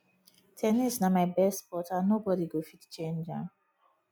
ten nis na my best sport and nobody go fit change am